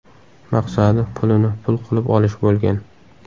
Maqsadi pulini pul qilib olish bo‘lgan.